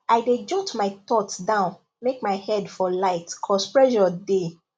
i dey jot my thoughts down make my head for light cause pressure dey